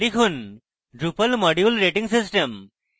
লিখুন drupal module rating system